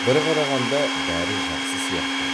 бір қарағанда бәрі жақсы сияқты